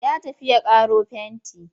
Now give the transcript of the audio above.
Ya tafi ya ƙaro fenti.